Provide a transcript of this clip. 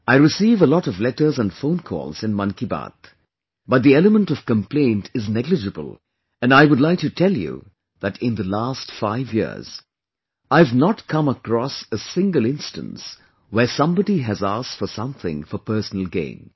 I receive a lot of letters and phone calls in 'Mann Ki Baat', but the element of complaint is negligible and I would like to tell you that in the last five years, I have not come across a single instance where somebody has asked for something for personal gain